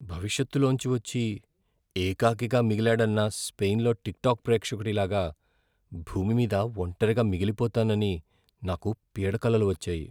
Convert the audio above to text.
భవిష్యత్తులోంచి వచ్చి, ఏకాకిగా మిగిలాడన్న స్పెయిన్లో టిక్టాక్ ప్రేక్షకుడి లాగా భూమి మీద ఒంటరిగా మిగిలిపోతానని నాకు పీడకలలు వచ్చాయి.